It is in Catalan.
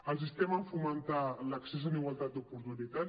els instem a fomentar l’accés en igualtat d’oportunitats